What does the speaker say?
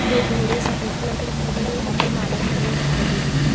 दो घोड़े सफेद कलर के दिखाई दे रहे हैं यहाँ पे माला चड़ी हुई दिखाई दे रही है ।